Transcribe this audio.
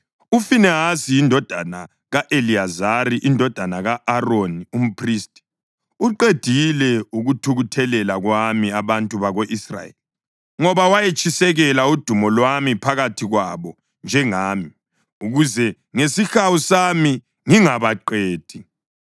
“UFinehasi indodana ka-Eliyazari indodana ka-Aroni umphristi, uqedile ukuthukuthelela kwami abantu bako-Israyeli, ngoba wayetshisekela udumo lwami phakathi kwabo njengami, ukuze ngesihawu sami ngingabaqedi.